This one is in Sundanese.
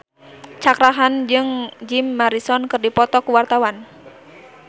Cakra Khan jeung Jim Morrison keur dipoto ku wartawan